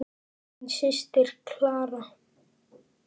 Þín systir, Clara.